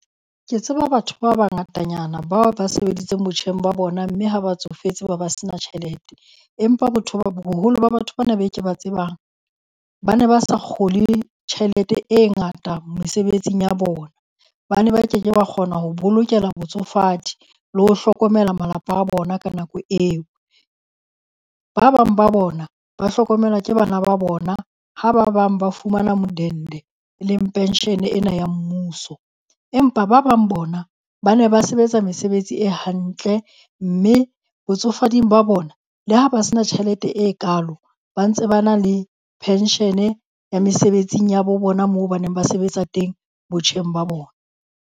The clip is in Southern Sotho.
Ke tseba batho ba bangatanyana bao ba sebeditseng botjheng ba bona mme ha ba tsofetse be ba se na tjhelete. Empa boholo ba batho ba na be ke ba tsebang ba ne ba sa kgole tjhelete e ngata mesebetsing ya bona. Ba ne ba keke ba kgona ho bolokela botsofadi le ho hlokomela malapa a bona ka nako eo. Ba bang ba bona ba hlokomelwa ke bana ba bona, ha ba bang ba fumana modende, e leng pension ena ya mmuso. Empa ba bang bona, ba ne ba sebetsa mesebetsi e hantle mme botsofading ba bona le ha ba se na tjhelete e kalo ba ntse ba na le pension-e ya mesebetsing ya bo bona moo ba neng ba sebetsa teng botjheng ba bona.